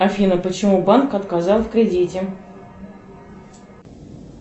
афина почему банк отказал в кредите